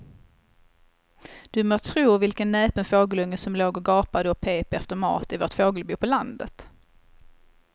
Du må tro vilken näpen fågelunge som låg och gapade och pep efter mat i vårt fågelbo på landet.